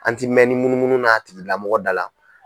An ti mɛn ni munumunu na a tigi lamɔgɔ da la.